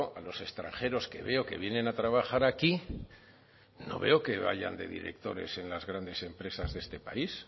a los extranjeros que veo que vienen a trabajar aquí no veo que vayan de directores en las grandes empresas de este país